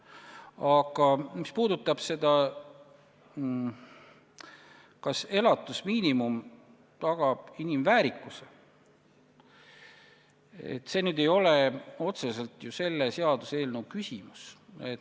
Aga mis puudutab seda, kas elatusmiinimum tagab inimväärikuse – see ei ole otseselt selle seaduseelnõu küsimus.